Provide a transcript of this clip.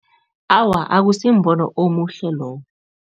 Awa, akusimbono omuhle lowo.